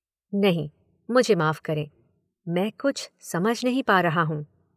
नहीं, मुझे माफ़ करें, मैं कुछ समझ नहीं पा रहा हूँ।